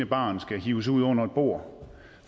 barn skal hives ud fra under et bord